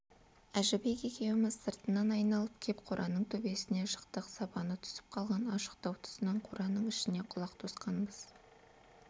әжібек екеуміз сыртынан айналып кеп қораның төбесіне шықтық сабаны түсіп қалған ашықтау тұсынан қораның ішіне құлақ тосқанбыз